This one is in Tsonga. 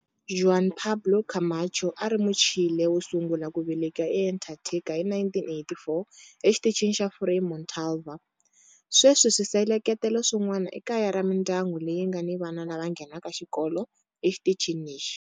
Juan Pablo Camacho a a ri Muchile wo sungula ku veleka eAntarctica hi 1984 eXitichini xa Frei Montalva. Sweswi swisekelo swin'wana i kaya ra mindyangu leyi nga ni vana lava nghenaka xikolo exitichini lexi.